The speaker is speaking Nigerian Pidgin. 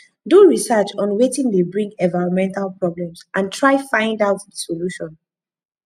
do research on wetin de bring environmental problems and try find out di solution